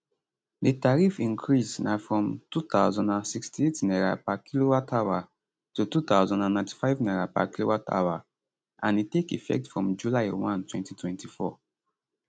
di tariff increase na from 2068 naira per kilowatthour to 2095 naira per kilowatthour and e take effect from july 1 2024